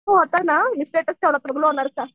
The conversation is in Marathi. मी स्टेटस ठेवला